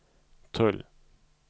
tull